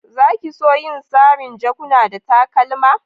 Za ki so yin sarin' jakuna da takalma?